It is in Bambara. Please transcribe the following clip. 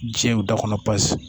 Diɲɛ da kɔnɔ paseke